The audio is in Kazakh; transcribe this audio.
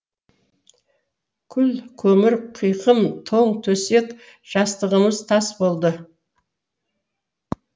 күл көмір қиқым тоң төсек жастығымыз тас болды